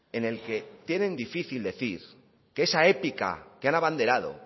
en el que tienen difícil decir que esa épica que han abanderado